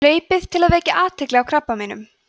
hlaupið til að vekja athygli á krabbameinum